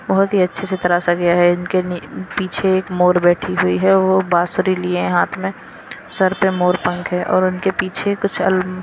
बहुत ही अच्छे से तरासा गया है इनके पीछे एक मोर बैठी हुई है वह बांसुरी लिए हैं हाथ में सर पे मोर पंख है और उनके पीछे कुछ अल--